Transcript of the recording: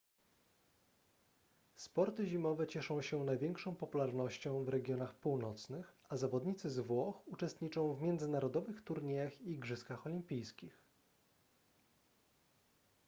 sporty zimowe cieszą się największą popularnością w regionach północnych a zawodnicy z włoch uczestniczą w międzynarodowych turniejach i igrzyskach olimpijskich